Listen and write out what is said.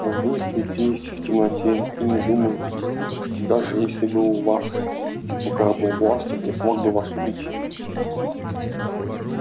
вы светись в темноте и не думаю что даже если бы у вас в руках был бластер я смог бы вас убить